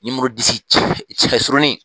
cɛ surunin!